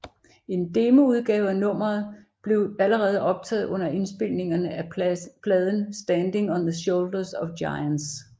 En demoudgave af nummeet blevet allerede optaget under indspilningerne af pladen Standing on the Shoulders of Giants